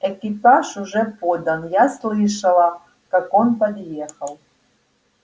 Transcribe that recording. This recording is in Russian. экипаж уже подан я слышала как он подъехал